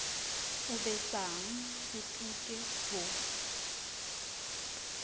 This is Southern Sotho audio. o besang o tuke ho